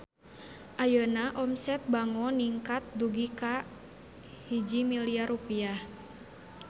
Ayeuna omset Bango ningkat dugi ka 1 miliar rupiah